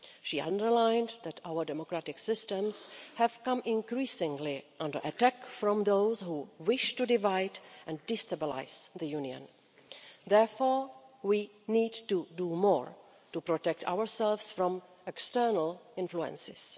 She underlined that our democratic systems have come increasingly under attack from those who wish to divide and destabilise the Union. Therefore, we need to do more to protect ourselves from external influences.